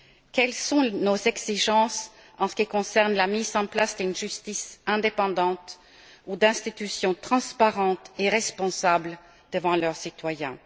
Quelles sont nos exigences en ce qui concerne la mise en place d'une justice indépendante ou d'institutions transparentes et responsables devant leurs citoyens?